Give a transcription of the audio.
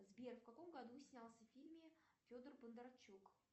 сбер в каком году снялся в фильме федор бондарчук